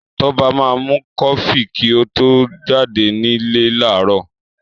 Tọ́ba máa mu kọfí kí ó tó jáde nílé láàárọ̀.